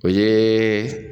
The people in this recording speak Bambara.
Ee